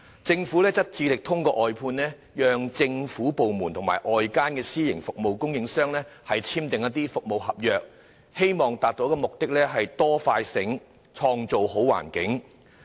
政府希望透過外判，讓政府部門與外間的私營服務供應商簽訂服務合約，從而達致"多快醒，創造好環境"的目的。